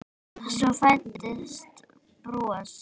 Svo fæddist bros.